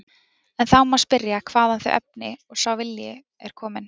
En þá má spyrja hvaðan þau efni og sá vilji séu komin.